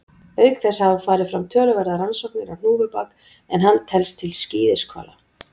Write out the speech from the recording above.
Auk þess hafa farið fram töluverðar rannsóknir á hnúfubak en hann telst til skíðishvala.